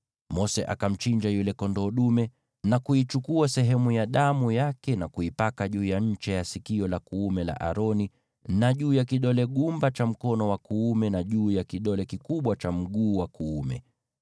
Mose akamchinja yule kondoo dume, akaichukua sehemu ya damu yake na kuipaka juu ya ncha ya sikio la kuume la Aroni, na juu ya kidole gumba cha mkono wake wa kuume na juu ya kidole kikubwa cha mguu wake wa kuume.